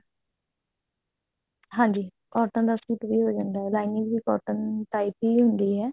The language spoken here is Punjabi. ਹਾਂਜੀ cotton ਦਾ ਸੂਟ ਵੀ ਹੋ ਜਾਂਦਾ lining ਵੀ cotton type ਹੁੰਦੀ ਹੈ